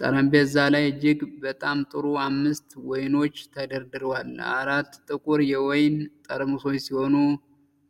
ጠረጴዛ ላይ እጅግ በጣም ጥሩ አምስት ወይኖች ተደርድረዋል። አራት ጥቁር የወይን ጠርሙሶች ሲሆኑ ፥